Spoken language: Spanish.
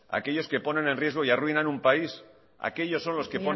aquellos que ponen en riesgo y arruinan un país aquellos son los que